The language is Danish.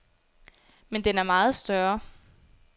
Men den er meget større.